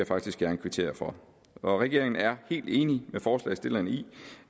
faktisk gerne kvittere for regeringen er helt enig med forslagsstillerne i